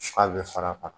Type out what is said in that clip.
Fa bɛ far'a kan